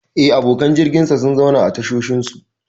Eh, abokan jirginsa sun zauna a tashoshinsu.